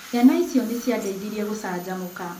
Ciana icio nĩ ciandeithirie gũcanjamũka.